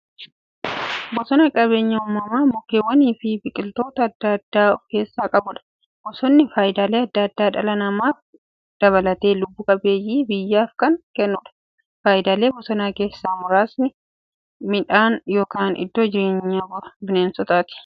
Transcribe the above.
Bosonni qabeenya uumamaa mukkeewwaniifi biqiltoota adda addaa of keessaa qabudha. Bosonni faayidaalee adda addaa dhala namaa dabalatee lubbuu qabeeyyii baay'eef kan kennuudha. Faayidaalee bosonaa keessaa muraasni; Mandhee yookin iddoo jireenya bineensotaati.